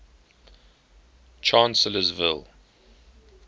chancellorsville